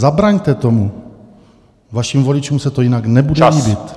Zabraňte tomu, vašim voličům se to jinak nebude líbit.